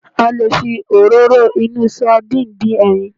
A lè fi Òróró inú sandínì dín ẹyin